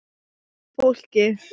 Góða fólkið.